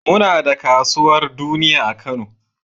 Muna da kasuwar duniya a Kano.